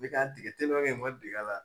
Ne k'a dege teliman kɛ Mɔmɛd deger'a la